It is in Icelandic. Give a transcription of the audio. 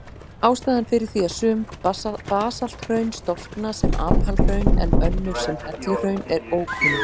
Ástæðan fyrir því að sum basalthraun storkna sem apalhraun en önnur sem helluhraun er ókunn.